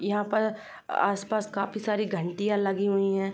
यहाँ पर आस-पास काफी सारी घण्टियाँ लगी हुई हैं।